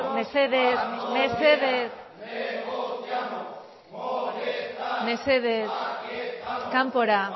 mesedez mesedez mesedez kanpora